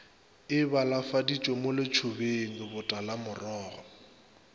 e balafaditšwe mo letšobeng botalamorogo